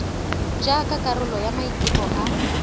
jaaka karolo ya maiteko a